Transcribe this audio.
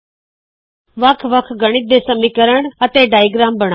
ਇਸ ਟਯੂਟੋਰਿਯਲ ਵਿੱਚ ਬਨਾਏ ਚਿੱਤਰ ਨੂੰ ਹੋਰ ਖੂਬਸੂਰਤ ਤੇ ਸਮਰੂਪੀ ਬਣਾਓ